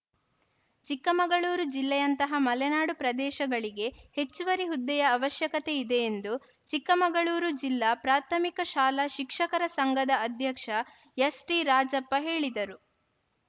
ಚಿಕ್ಕಮಗಳೂರು ಜಿಲ್ಲೆಯಂತಹ ಮಲೆನಾಡು ಪ್ರದೇಶಗಳಿಗೆ ಹೆಚ್ಚುವರಿ ಹುದ್ದೆಯ ಅವಶ್ಯಕತೆ ಇದೆ ಎಂದು ಚಿಕ್ಕಮಗಳೂರು ಜಿಲ್ಲಾ ಪ್ರಾಥಮಿಕ ಶಾಲಾ ಶಿಕ್ಷಕರ ಸಂಘದ ಅಧ್ಯಕ್ಷ ಎಸ್‌ಟಿರಾಜಪ್ಪ ಹೇಳಿದರು